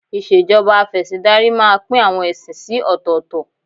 Ìṣèjọba Afẹ̀sìndarí máa pín àwọn ẹ̀sìn sí ọ̀tọ̀ọ̀tọ̀